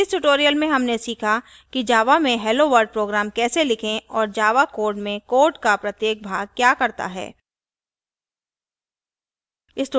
इस tutorial में हमने सीखा कि java में helloworld program कैसे लिखें और java code में code का प्रत्येक भाग क्या करता है